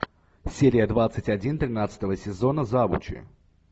серия двадцать один тринадцатого сезона завучи